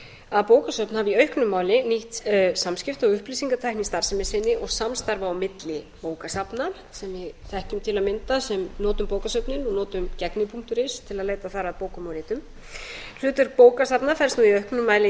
að bókasöfn hafi í auknum mæli nýtt samskipti og upplýsingatækni í starfsemi sinni og samstarfi á milli bókasafna sem við þekkjum til að mynda sem notum bókasöfnin og notum gegni punktur is til að leita þar að bókum og ritum hlutverk bókasafna felst